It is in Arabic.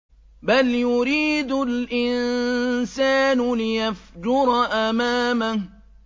بَلْ يُرِيدُ الْإِنسَانُ لِيَفْجُرَ أَمَامَهُ